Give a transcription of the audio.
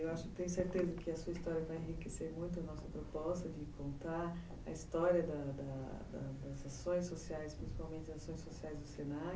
Eu tenho certeza que a sua história vai enriquecer muito a nossa proposta de contar a história da da das ações sociais, principalmente as ações sociais do